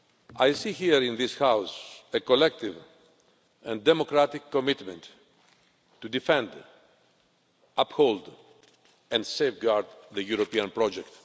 I see here in this House a collective and democratic commitment to defend, uphold and safeguard the European project.